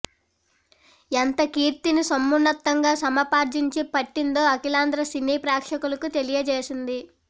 ఎంత కీర్తిని సమున్నతంగా సముపార్జించి పెట్టిందో అఖిలాంధ్ర సినీ ప్రేక్షకులకు తెలియచేసింది